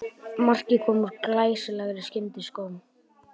Markið kom úr glæsilegri skyndisókn